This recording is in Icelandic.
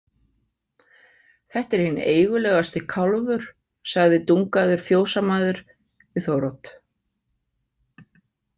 Þetta er hinn eigulegasti kálfur, sagði Dungaður fjósamaður við Þórodd.